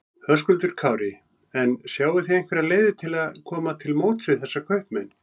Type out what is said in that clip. Höskuldur Kári: En sjáið þið einhverjar leiðir til að koma til móts við þessa kaupmenn?